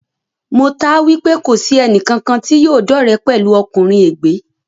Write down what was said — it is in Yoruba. Mo taá wipe kòní sì ẹnì kankan tí yóò dọ́re pẹ̀lú ọkùnrin ègbé